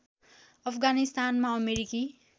अफगानिस्तानमा अमेरिकी